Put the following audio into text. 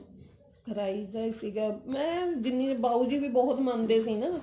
ਦਾ ਹੀ ਸੀਗਾ ਮੈਂ ਜਿੰਨੀ ਬਾਓ ਜੀ ਵੀ ਬਹੁਤ ਮੰਨਦੇ ਸੀ ਨਾ